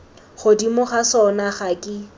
godimo ga sona ga ke